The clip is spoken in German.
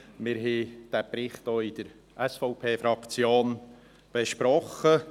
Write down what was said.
Wir haben diesen Bericht auch seitens der SVP-Fraktion besprochen.